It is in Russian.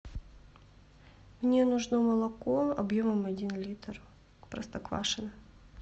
мне нужно молоко объемом один литр простоквашино